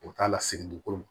O t'a lasegin dugukolo ma